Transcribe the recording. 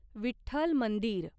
विठ्ठल मंदिर